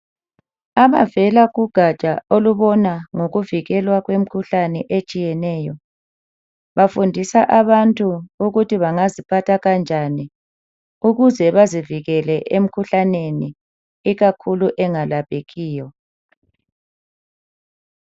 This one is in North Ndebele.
Abavela kugatsha olubona ngokuvukilwa kwemikhuhlane etshiyeneyo bafundisa abantu ukuthi bangaziphatha kanjani ukuze bazivikele emikhuhlaneni ikakhulu engalaphekiyo.